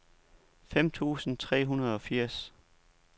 fem tusind tre hundrede og firs